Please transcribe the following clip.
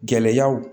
Gɛlɛyaw